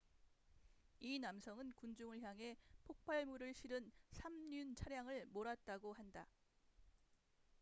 이 남성은 군중을 향해 폭발물을 실은 3륜 차량을 몰았다고 한다